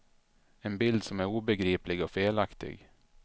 En bild som är obegriplig och felaktig.